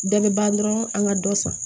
Dɛmɛba dɔrɔn an ka dɔ san